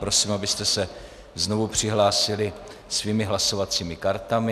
Prosím, abyste se znovu přihlásili svými hlasovacími kartami.